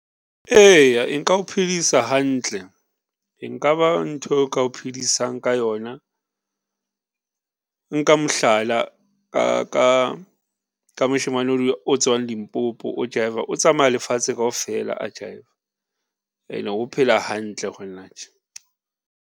Eya e nka o phedisa hantle, e nka ba ntho o ka iphedisang ka yona. Nka mohlala ka moshemane o tswang Limpopo o jive-a, o tsamaya lefatshe kaofela a jive-a ene o phela hantle ho na tje.